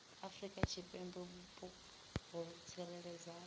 afrika tshipembe vhupo ho tsireledzeaho